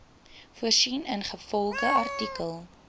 voorsien ingevolge artikel